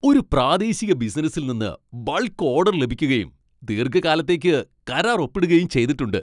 ഒരു പ്രാദേശിക ബിസിനസ്സിൽ നിന്ന് ബൾക്ക് ഓഡർ ലഭിക്കുകയും, ദീർഘകാലത്തേക്ക് കരാർ ഒപ്പിടുകയും ചെയ്തിട്ടുണ്ട്.